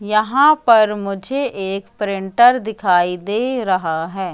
यहां पर मुझे एक प्रिंटर दिखाई दे रहा है।